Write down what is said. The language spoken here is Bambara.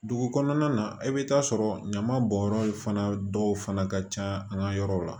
Dugu kɔnɔna na i bɛ taa sɔrɔ ɲaman bɔnyɔrɔ fana dɔw fana ka ca an ka yɔrɔw la